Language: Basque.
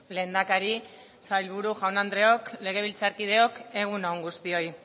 lehendakari sailburu jaun andreok legebiltzarkideok egun on guztioi